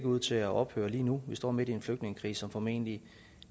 ud til at ophøre lige nu vi står midt i en flygtningekrise som formentlig